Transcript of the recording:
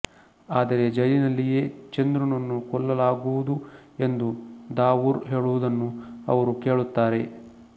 ಆದರೆ ಜೈಲಿನಲ್ಲಿಯೇ ಚಂದ್ರುನನ್ನು ಕೊಲ್ಲಲಾಗುವುದು ಎಂದು ದಾವೂರ್ ಹೇಳುವುದನ್ನು ಅವರು ಕೇಳುತ್ತಾರೆ